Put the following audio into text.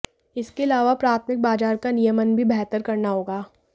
इसके अलावा प्राथमिक बाजार का नियमन भी बेहतर करना होगा